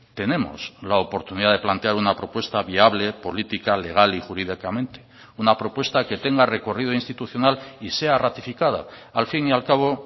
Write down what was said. tenemos la oportunidad de plantear una propuesta viable política legal y jurídicamente una propuesta que tenga recorrido institucional y sea ratificada al fin y al cabo